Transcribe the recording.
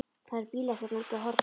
Það eru bílar hérna úti á horni.